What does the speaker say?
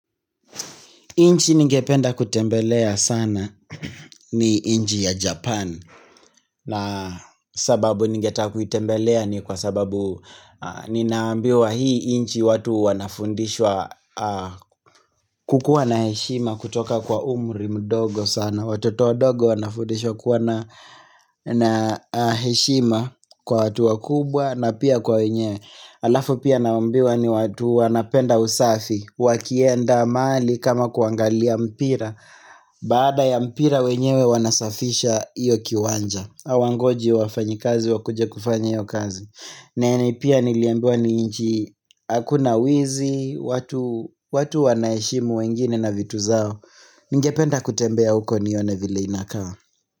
Nchi ningependa kutembelea sana ni nchi ya Japan na sababu ningetaka kuitembelea ni kwa sababu Ninaambiwa hii nchi watu wanafundishwa kukuwa na heshima kutoka kwa umri mdogo sana Watoto wadogo wanafundishwa kuwa na heshima kwa watu wakubwa na pia kwa wenye Alafu pia naambiwa ni watu wanapenda usafi wakienda mahali kama kuangalia mpira Baada ya mpira wenyewe wanasafisha iyo kiwanja hawangoji wafanyikazi wakuje kufanya hiyo kazi na pia niliambiwa ni nchi Hakuna wizi, watu wanaheshimu wengine na vitu zao Ningependa kutembea huko nione vile inakaa.